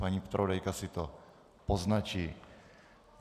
Paní zpravodajka si to poznačí.